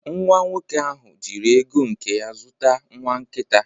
Nwa nwoke ahụ jiri ego nke ya zụta nwa nkita